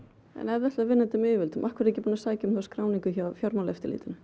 en ef þið ætlið að vinna þetta með yfirvöldum af hverju ekki búin að sækja um skráningu hjá Fjármálaeftirlitinu